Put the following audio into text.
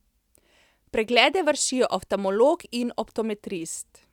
Preglede vršijo oftalmolog in optometrist.